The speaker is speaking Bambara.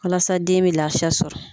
Walasa den bɛ laafiya sɔrɔ.